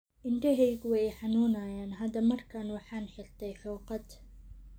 Indhahaygu way i xanuunayaan hadda markaan waaxan xirtaay hooqad.